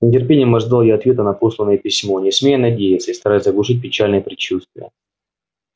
с нетерпением ожидал я ответа на посланное письмо не смея надеяться и стараясь заглушить печальные предчувствия